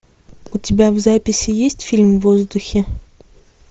у тебя в записи есть фильм в воздухе